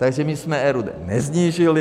Takže my jsme RUD nesnížili.